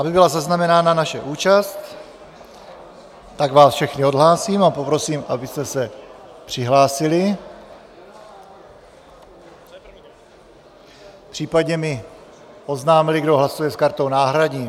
Aby byla zaznamenána naše účast, tak vás všechny odhlásím a poprosím, abyste se přihlásili, případně mi oznámili, kdo hlasuje s kartou náhradní.